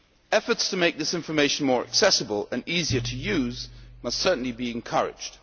Efforts to make this information more accessible and easier to use must certainly be encouraged.